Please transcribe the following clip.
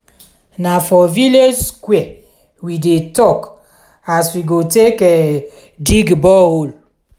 na for village square we dey tok as we go take dig bore hole.